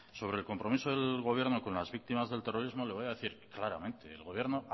sobre el compromiso del gobierno con las víctimas del terrorismo le voy a decir claramente el gobierno